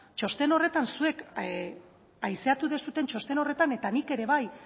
txosten horretan zuek haizeratu duzuen txosten horretan eta nik ere bai